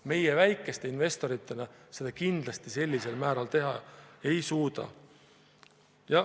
Meie väikeste investoritena seda kindlasti sellisel määral teha ei suuda.